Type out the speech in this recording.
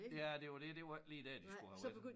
Ja det var det det var ikke lige dér de skulle have været